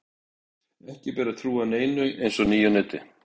Ekki ber að trúa neinu eins og nýju neti.